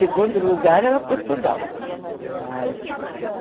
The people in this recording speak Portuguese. Segundo lugar era Portugal. mas